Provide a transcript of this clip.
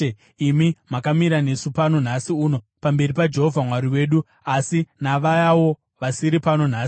imi makamira nesu pano nhasi uno pamberi paJehovha Mwari wedu, asi navayawo vasiri pano nhasi.